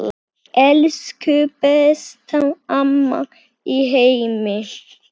Elsku besta amma í heimi.